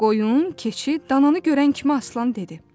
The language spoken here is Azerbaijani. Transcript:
Qoyun, keçi, dananı görən kimi aslan dedi.